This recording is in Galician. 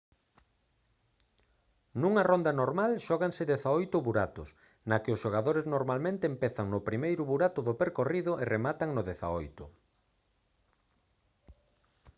nunha ronda normal xóganse 18 buratos na que os xogadores normalmente empezan no primeiro burato do percorrido e rematan no dezaoito